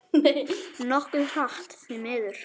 Nokkuð hratt, því miður.